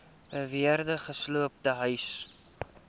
beweerde gesloopte huise